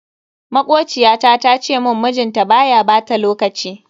Makociyata ta ce mun mijinta baya bata lokaci.